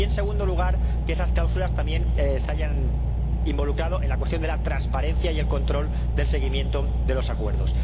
Y en segundo lugar, de que esas cláusulas también se hayan involucrado en la cuestión de la transparencia y el control del seguimiento de los acuerdos.